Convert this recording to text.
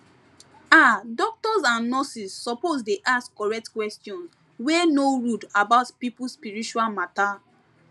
ah doctors and nurses suppose dey ask correct question wey no rude about people spiritual matter